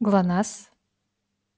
глонассс